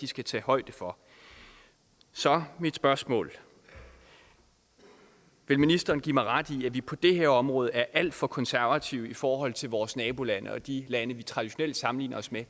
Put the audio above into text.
skal tage højde for så mit spørgsmål er vil ministeren give mig ret i at vi på det her område er alt for konservative i forhold til vores nabolande og de lande vi traditionelt sammenligner os med